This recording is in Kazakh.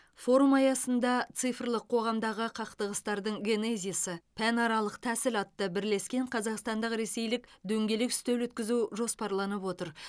форум аясында цифрлық қоғамдағы қақтығыстардың генезисі пәнаралық тәсіл атты бірлескен қазақстандық ресейлік дөңгелек үстел өткізу жоспарланып отыр